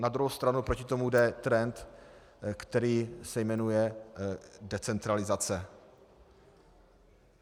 Na druhou stranu proti tomu jde trend, který se jmenuje decentralizace.